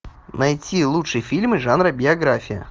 найти лучшие фильмы жанра биография